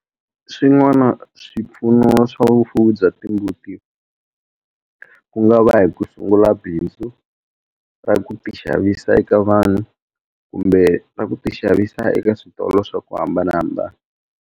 Swin'wana swipfuno swa vufuwi bya timbuti ku nga va hi ku sungula bindzu ra ku ti xavisa eka vanhu kumbe ra ku ti xavisa eka switolo swa ku hambanahambana.